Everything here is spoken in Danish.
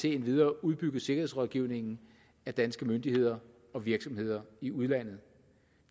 endvidere udbygget sikkerhedsrådgivningen af danske myndigheder og virksomheder i udlandet